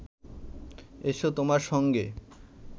এসো তোমার সঙ্গে